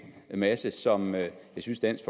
masse som jeg synes dansk